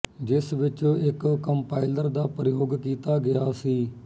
ਜਿਸ ਵਿੱਚ ਇੱਕ ਕੰਪਾਇਲਰ ਦਾ ਪ੍ਰਯੋਗ ਕੀਤਾ ਗਿਆ ਸੀ